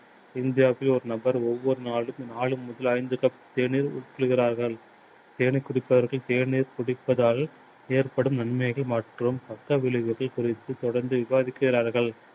இந்தியாவில் ஒரு நபர் ஒவ்வொரு நாளும் நாலு முதல் ஐந்து cup தேநீர் உட்கொள்கிறார்கள். தேநீர் குடிப்பதற்கு தேநீர் குடிப்பதால் ஏற்படும் நன்மைகள் மற்றும் பக்க விளைவுகள் குறித்து தொடர்ந்து விவாதிக்கிறார்கள்.